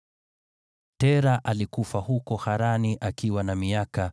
Tera alikufa huko Harani akiwa na miaka 205.